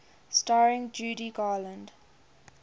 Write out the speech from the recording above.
starring judy garland